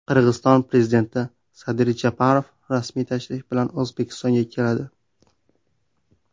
Qirg‘iziston prezidenti Sadir Japarov rasmiy tashrif bilan O‘zbekistonga keladi.